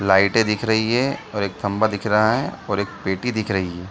लाइटे दिख रही है और एक खंभा दिख रहा है और एक पेटी दिख रही है।